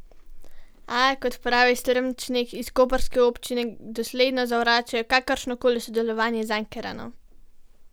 A, kot pravi Strmčnik, iz koprske občine dosledno zavračajo kakršno koli sodelovanje z Ankaranom.